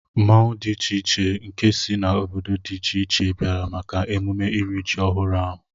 Mmanwu dị iche iche nke si na obodo dị iche iche bịara maka emume írì ji ọhụrụ ahụ